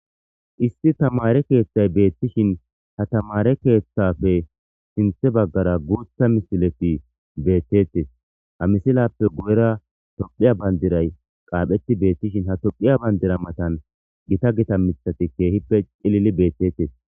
Issi thamaare keeththay beettishin ha thamaare keeththaafe sinththe baggara booththa misilethi beeththeeththes; ha misilaappe guyeraa toophphiya banddiray qaapheththi beeththishin ha toophphiya banddira mathan githa githa miththathi keehippe cilili beeththeeththes.